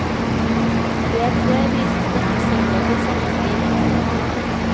Del tre vises neste søndag til samme tid. punktum